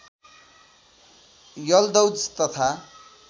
यल्दौज तथा